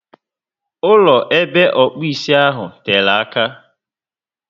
Ụlọ ebe okpu ísì ahụ tere àkà